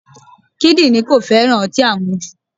Kídírìn kò féràn ọtí àmujù.